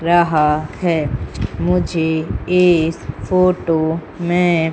रहा है मुझे इस फोटो में--